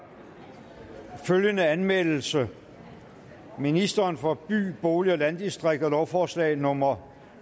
der følgende anmeldelse ministeren for by bolig og landdistrikter lovforslag nummer